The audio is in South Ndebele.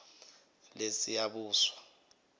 lesiyabuswa